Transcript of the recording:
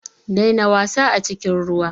Daina wasa a cikin ruwa.